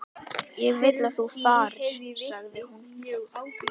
Ég vil að þú farir, sagði hún.